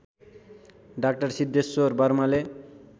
डा सिद्धेश्वर वर्माले